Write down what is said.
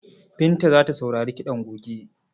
Binta za ta sauri kiɗan goge.